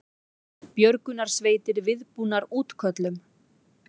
Björgunarsveitir viðbúnar útköllum